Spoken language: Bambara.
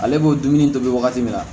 Ale b'o dumuni tobi wagati min na